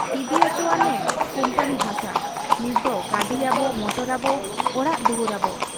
ᱤᱫᱤ ᱚᱪᱚᱣᱟᱱ ᱮ ᱠᱩᱢᱯᱟᱹᱱᱤ ᱦᱟᱥᱟ ᱾ ᱱᱤᱛᱫᱚ ᱜᱟᱹᱰᱤᱭᱟᱵᱚ, ᱢᱚᱴᱚᱨᱟᱵᱚ, ᱚᱲᱟᱜ ᱫᱩᱣᱟᱹᱨᱟᱵᱚ ᱾